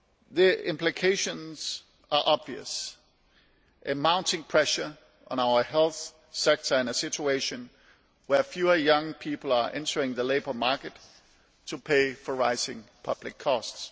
The implications are obvious mounting pressure on our health sector and a situation where fewer young people are entering the labour market to pay for rising public costs.